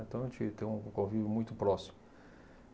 Então, a gente tem um um convívio muito próximo.